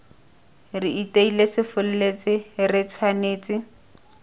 re iteile sefolletse re tshwanetse